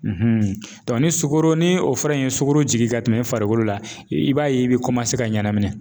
ni sukɔro ni o fura in ye sukoro jigin ka tɛmɛ i farikolo la, i b'a ye i bɛ ka ɲanamini